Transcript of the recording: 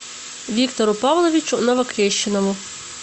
виктору павловичу новокрещенову